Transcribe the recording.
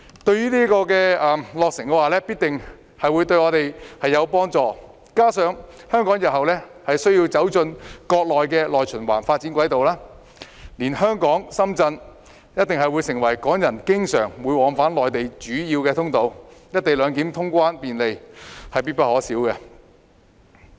新口岸落成必定會對我們有所幫助，加上香港日後需要走進國內的內循環發展軌道，毗連香港的深圳一定會成為港人經常往返內地的主要通道，"一地兩檢"通關便利，是必不可少的。